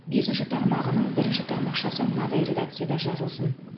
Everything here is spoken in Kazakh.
бесінші тармағының бірінші тармақшасы мынадай редакцияда жазылсын